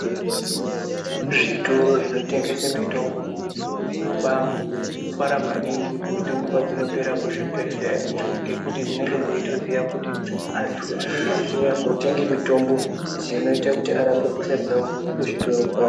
Zvitoro zvinotengese mitombo zvinobafara maningi mitombo padzinopera kuzvibhedhlera ngekuti dzinenga dzeitoziya kuti antu anenge eitouya kotenge mitombo dzinoita kuti arape hosha dzavo kuzvitoro kwavo.